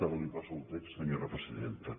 ara li passo el text senyora presidenta